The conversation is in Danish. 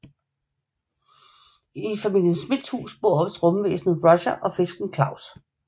I familien Smiths hus bor også rumvæsenet Roger og fisken Klaus